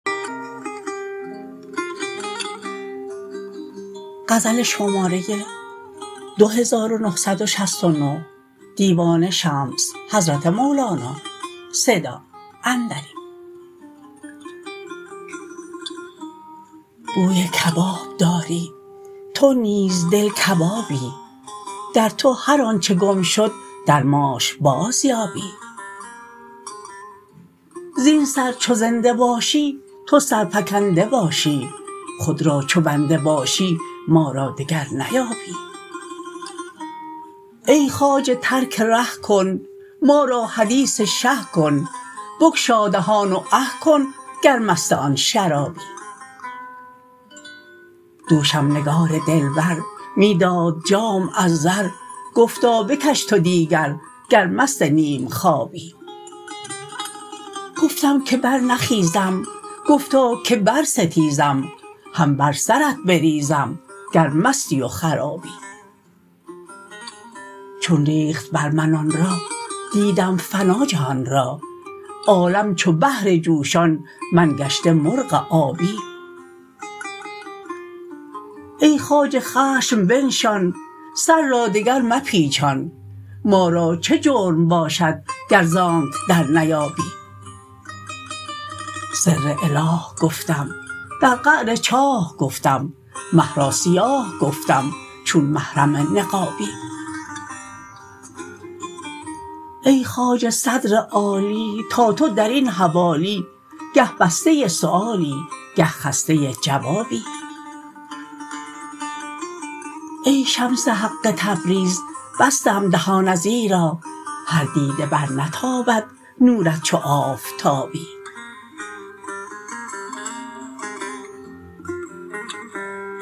بوی کباب داری تو نیز دل کبابی در تو هر آنچ گم شد در ماش بازیابی زین سر چو زنده باشی تو سرفکنده باشی خود را چو بنده باشی ما را دگر نیابی ای خواجه ترک ره کن ما را حدیث شه کن بگشا دهان و اه کن گر مست آن شرابی دوشم نگار دلبر می داد جام از زر گفتا بکش تو دیگر گر مست نیم خوابی گفتم که برنخیزم گفتا که برستیزم هم بر سرت بریزم گر مستی و خرابی چون ریخت بر من آن را دیدم فنا جهان را عالم چو بحر جوشان من گشته مرغ آبی ای خواجه خشم بنشان سر را دگر مپیچان ما را چه جرم باشد گر ز آنک درنیابی سر اله گفتم در قعر چاه گفتم مه را سیاه گفتم چون محرم نقابی ای خواجه صدر عالی تا تو در این حوالی گه بسته سؤالی گه خسته جوابی ای شمس حق تبریز بستم دهان ازیرا هر دیده برنتابد نورت چو آفتابی